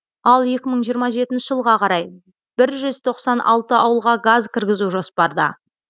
ал екі мың жиырма жетнші жылға қарай бір жүз тоқсан алты ауылға газ кіргізу жоспарда